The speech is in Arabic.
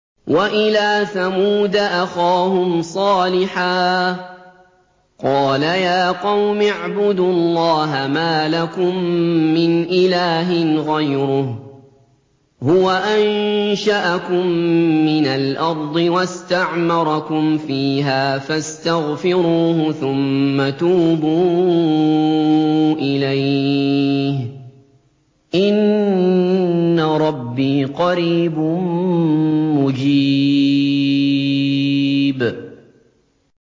۞ وَإِلَىٰ ثَمُودَ أَخَاهُمْ صَالِحًا ۚ قَالَ يَا قَوْمِ اعْبُدُوا اللَّهَ مَا لَكُم مِّنْ إِلَٰهٍ غَيْرُهُ ۖ هُوَ أَنشَأَكُم مِّنَ الْأَرْضِ وَاسْتَعْمَرَكُمْ فِيهَا فَاسْتَغْفِرُوهُ ثُمَّ تُوبُوا إِلَيْهِ ۚ إِنَّ رَبِّي قَرِيبٌ مُّجِيبٌ